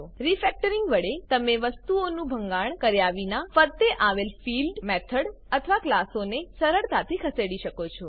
refactoring વડે તમે વસ્તુઓનું ભંગાણ કર્યા વિના ફરતે આવેલ ફિલ્ડ મેથડ અથવા ક્લાસોને સરળતાથી ખસેડી શકો છો